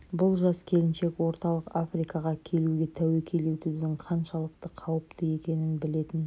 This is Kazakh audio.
бұл жас келіншек орталық африкаға келуге тәуекел етудің қаншалықты қауіпті екенін білетін